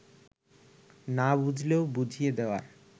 না বুঝলেও বুঝিয়ে দেওয়ার